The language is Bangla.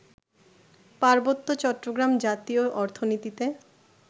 পার্বত্য চট্টগ্রাম জাতীয় অর্থনীতিতে